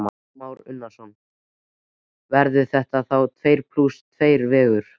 Kristján Már Unnarsson: Verður þetta þá tveir plús tveir vegur?